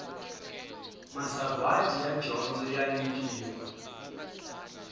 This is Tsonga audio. masagwati ya dyondzo ya nyikiwa